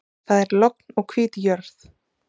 Það er logn og hvít jörð.